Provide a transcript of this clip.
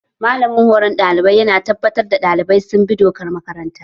Malamin horon ɗalibai ya na tabbatar da ɗalibai sun bi dokar makaranta